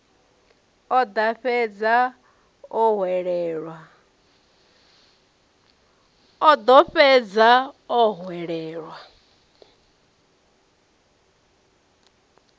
o ḓo fhedza o hwelelwa